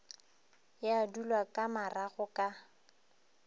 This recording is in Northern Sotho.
ya dulwa ka marago ka